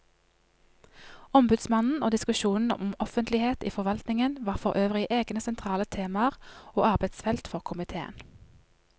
Ombudsmannen og diskusjonen om offentlighet i forvaltningen var forøvrig egne sentrale temaer og arbeidsfelt for komiteen.